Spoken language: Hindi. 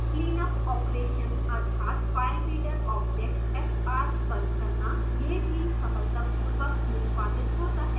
cleanup operation अर्थात filereader object fr बंद करना यह भी सफलतापूर्वक निष्पादित होता है